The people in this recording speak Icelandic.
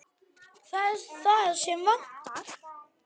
Það er það sem vantar.